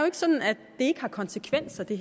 ikke sådan at det ikke har konsekvenser det